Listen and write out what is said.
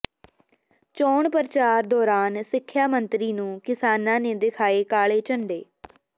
ਚੋਣ ਪ੍ਰਚਾਰ ਦੌਰਾਨ ਸਿੱਖਿਆ ਮੰਤਰੀ ਨੂੰ ਕਿਸਾਨਾਂ ਨੇ ਦਿਖਾਏ ਕਾਲੇ ਝੰਡੇ